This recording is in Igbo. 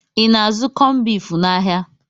I na-azụ kọmbif n'ahia?